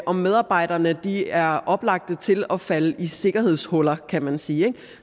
om medarbejderne er oplagte til at falde i sikkerhedshuller kan man sige ikke